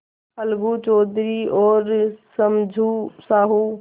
अलगू चौधरी और समझू साहु